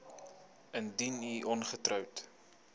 indien u ongetroud